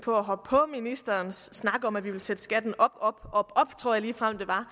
på at hoppe på ministerens snak om at vi vil sætte skatten op op og op tror jeg ligefrem der